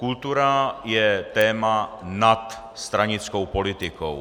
Kultura je téma nad stranickou politikou.